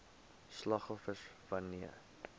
slagoffers wan neer